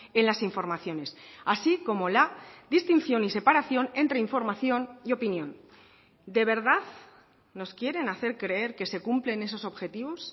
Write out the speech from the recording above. en las informaciones así como la distinción y separación entre información y opinión de verdad nos quieren hacer creer que se cumplen esos objetivos